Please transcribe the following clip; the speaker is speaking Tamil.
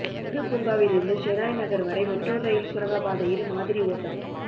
நேரு பூங்காவில் இருந்து ஷெனாய் நகர் வரை மெட்ரோ ரயில் சுரங்கப்பாதையில் மாதிரி ஓட்டம்